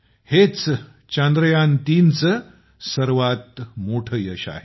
हेच चांद्रयान ३चं सर्वात मोठं यश आहे